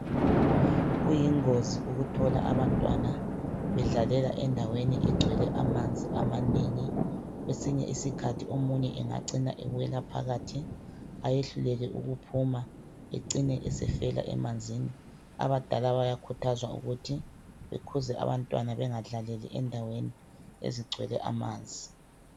Kuyingozi ukuthola abantwana bedlalela endaweni egcwele amanzi amanengi kwesinye isikhathi omunye engacina ewela phakathi ayehluleke ukuphuma ecine sefela emanzini abadala bayakhuthazwa ukuthi bakhuze abantwana bengadlaleli endaweni ezigcwele amanzi